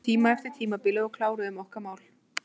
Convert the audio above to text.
Við tókum smá tíma eftir tímabilið og kláruðum okkar mál.